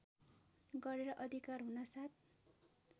गरेर अधिकार हुनासाथ